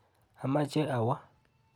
Amache awo.